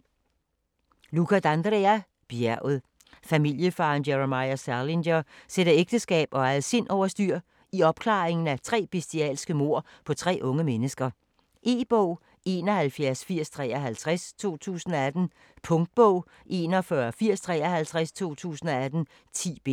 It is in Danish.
D'Andrea, Luca: Bjerget Familiefaderen Jeremiah Salinger sætter ægteskab og eget sind over styr, i opklaringen af tre bestialske mord på tre unge mennesker. E-bog 718053 2018. Punktbog 418053 2018. 10 bind.